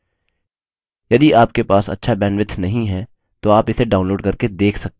यदि आपके पास अच्छा bandwidth नहीं है तो आप इसे download करके देख सकते हैं